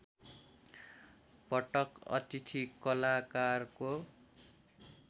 पटक अतिथि कलाकारको